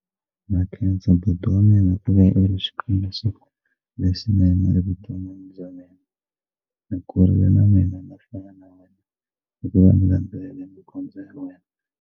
Na khensa buti wa mina ku va u ri xikombiso lexinene evuton'wini bya mina ni kurile na mina na ku fana na yena hikuva ndzi landzelela mikondzo ya wena.